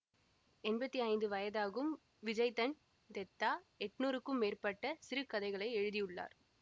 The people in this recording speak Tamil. எம்பத்தி ஐந்து வயதாகும் விஜய்தன் தெத்தா எட்ணூறுக்கும் மேற்பட்ட சிறுகதைகளை எழுதி உள்ளார்